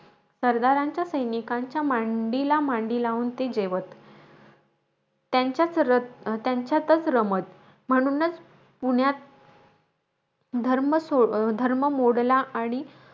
सरदारांच्या सैनिकांच्या मांडीला मांडी लावून ते जेवत. त्यांच्या त्यांच्यातचं रमत. म्हणूनचं, पुण्यात धर्म सो धर्म मोडला,